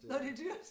Nåh det dyrt